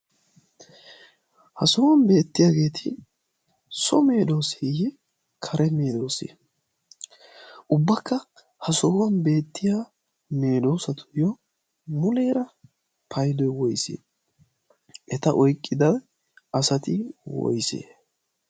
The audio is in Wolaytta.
ha sohuwan beettiyaageeti so meedoosiiyiye kare meedoosi ubbakka ha sohuwan beettiya meeloosatuyyo muleera paydo woyse eta oiqqida asati woyse